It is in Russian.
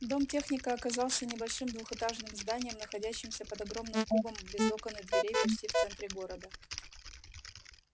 дом техника оказался небольшим двухэтажным зданием находящимся под огромным кубом без окон и дверей почти в центре города